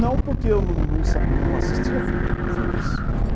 Não, porque eu não não não assistia filme filmes.